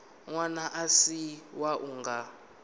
ṅwana a si wau nga